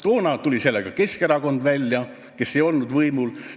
Toona tuli sellega välja Keskerakond, kes ei olnud võimul.